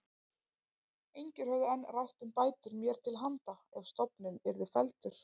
Engir höfðu enn rætt um bætur mér til handa ef stofninn yrði felldur.